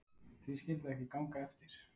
Því skyldi það ekki ganga eftir?